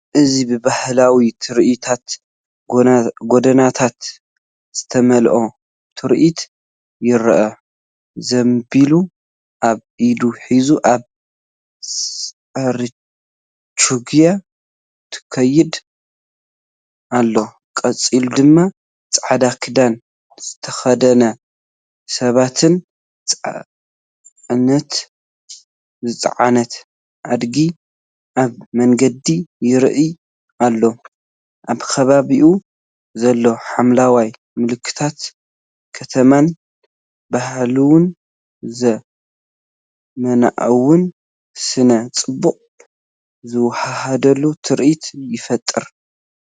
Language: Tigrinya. እዚ ብባህላዊ ትርኢታት ጎደናታት ዝተመልአ ትርኢት ይርአ። ዘምቢል ኣብ ኢዳ ሒዛ ኣብ ፅርችግያ ትኸይድ ኣላ። ቀፂሉድማ ጻዕዳ ክዳን ዝተኸድኑ ሰባትን ጽዕነት ዝጸዓነት ኣድጊን ኣብ መንገዲ ይረኣዩ። ኣብ ከባቢኡ ዘሎ ሓምላይን ምልክታት ከተማን ባህላውን ዘመናውን ስነ-ጽባቐ ዝወሃሃድ ትርኢት ይፈጥር።